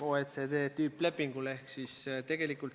Kindlasti on erinevaid huvigruppe võimalik leida üsna palju.